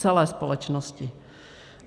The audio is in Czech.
Celé společnosti.